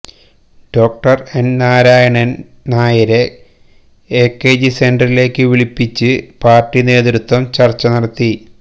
ഡോ N Narayanan നായരെ എകെജി സെന്ററിലേക്ക് വിളിപ്പിച്ച് പാര്ട്ടി നേതൃത്വം ചര്ച്ച നടത്തി